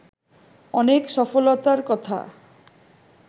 অনেক সফলতার কথা